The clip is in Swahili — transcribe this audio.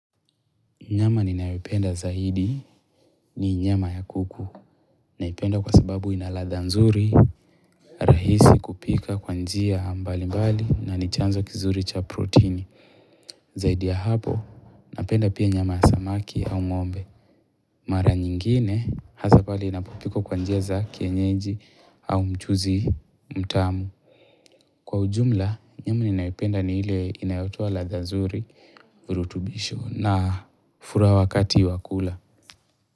Nyama ninayoipenda zaidi ni nyama ya kuku. Naipenda kwa sababu ina ladha nzuri, rahisi kupika kwa njia mbali mbali na nichanzo kizuri cha proteini. Zaidi ya hapo, napenda pia nyama ya samaki au ngombe. Mara nyingine, hasa pale inapopikwa kwa njia za kienyeji au mchuzi mtamu. Kwa ujumla, nyama ninayoipenda ni ile inayotoa ladha nzuri, urutubisho na furaha wakati wakula.